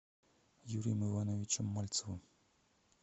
юрием ивановичем мальцевым